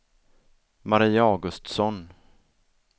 Mari Augustsson